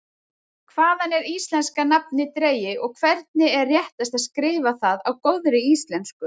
Hvaðan er íslenska nafnið dregið og hvernig er réttast að skrifa það á góðri íslensku?